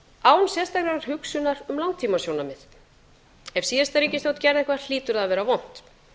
án sérstakrar hugsunar um langtímasjónarmið ef síðasta ríkisstjórn gerði eitthvað hlýtur það að vera vont